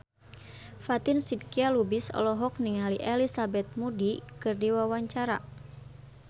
Fatin Shidqia Lubis olohok ningali Elizabeth Moody keur diwawancara